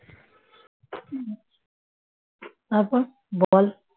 হুঁ তারপর বল